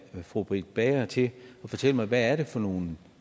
fru britt bager til at fortælle mig hvad er det for nogle